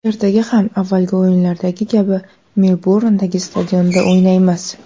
Ertaga ham avvalgi o‘yindagi kabi Melburndagi stadionda o‘ynaymiz.